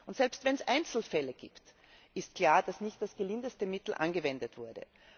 Und selbst wenn es Einzelfälle gibt, ist klar, dass nicht das gelindeste Mittel angewendet wurde.